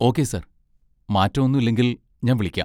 Okay sir, മാറ്റം ഒന്നും ഇല്ലെങ്കിൽ, ഞാൻ വിളിക്കാം.